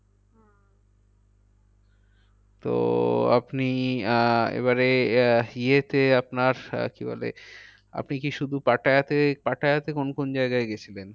তো আপনি আহ এবারে আহ ইয়েতে আপনার কি বলে আপনি কি শুধু পাটায়াতে, পাটায়াতে কোন কোন জায়গায় গিয়েছিলেন?